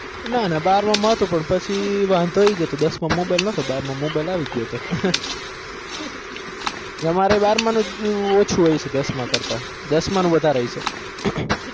ના ના બાર માં કરતા વધો નાતુ દસ માં માં મોબાઇલ નાતો બાર માં માં મોબાઈલ આવી ગયો તો ના બારમાં નું ઓસુ હોય છે દસ માનું વધાર હોય છે